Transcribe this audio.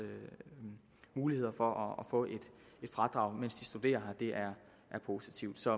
muligheder for at få et fradrag mens de studerer her er positivt så